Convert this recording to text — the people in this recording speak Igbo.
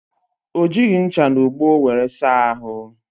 O jighi ncha na ogbo wéré saa ahụ